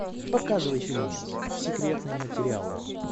показывай фильмец секретные материалы